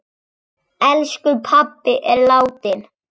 Elsku pabbi er látinn.